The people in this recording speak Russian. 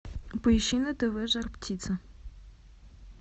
поищи на тв жар птица